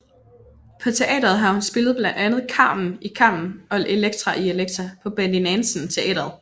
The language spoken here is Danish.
På teatret har hun spillet blandt andet Carmen i Carmen og Elektra i Elektra på Betty Nansen Teatret